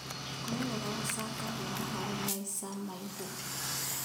Kũrĩa wega gũcangagĩra harĩ maica maaihu.